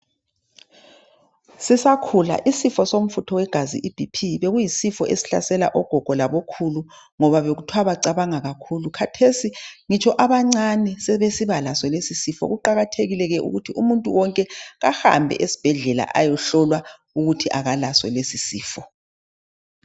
sisakhula isifo somfutho wegazi IBP bekuyisifo esihlasela ogogo labo khulu ngoba bekuthwa bacabanga kakhulu khathesi ngutshi abancane sebesiba laso lesi isifo kuqakathekile ukuthi umuntu wonke kahambe esibhedlela ayohlolwa ukuthi akalaso lesi isifo